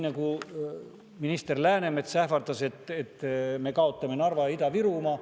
Minister Läänemets ähvardas, et me kaotame Narva ja Ida-Virumaa.